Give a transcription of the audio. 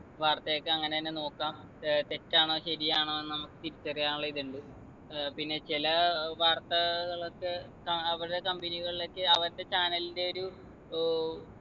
വാർത്തയൊക്കെ അങ്ങനെന്നെ നോക്കാം ഏർ തെറ്റാണോ ശരിയാണോ എന്ന് നമ്മക്ക് തിരിച്ചറിയാനുള്ള ഇത്ണ്ട് ഏർ പിന്നെ ചില ഏർ വാർത്തകളൊക്കെ കാ അവരുടെ company കളിലേക്ക് അവരുടെ channel ൻ്റെ ഒരു ഏർ